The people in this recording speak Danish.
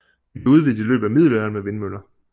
De blev udvidet i løbet af middelalderen med vindmøller